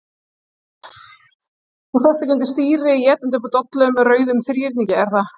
Þú sest ekki undir stýri étandi upp úr dollu með rauðum þríhyrningi, er það?